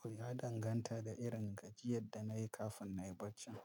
To ya danganta da irin gajiyar da na yi kafin na yi barcin.